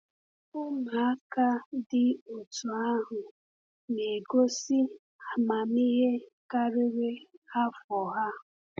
Ụmụaka dị otú ahụ na-egosi amamihe karịrị afọ ha.